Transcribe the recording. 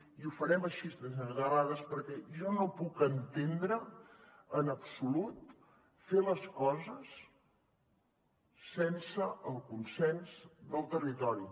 i ho farem així senyor terrades perquè jo no puc entendre en absolut fer les coses sense el consens del territori